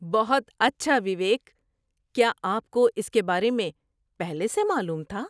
بہت اچھا وویک! کیا آپ کو اس کے بارے میں پہلے سے معلوم تھا؟